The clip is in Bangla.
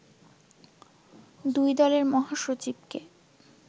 দুই দলের মহাসচিবকে